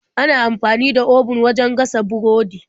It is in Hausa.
Ana amfani da obun wajen gasa burodi.